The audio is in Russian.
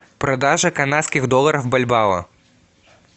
продажа канадских долларов в бальбао